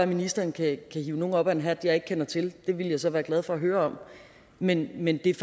ministeren kan hive nogen op af en hat som jeg ikke kender til det ville jeg så være glad for at høre om men men det er